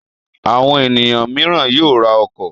Àwọn ènìyàn mìíràn yóò ra ọkọ̀.